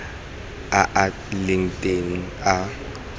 a a leng teng a